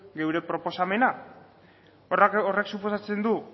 gure proposamena horrek suposatzen du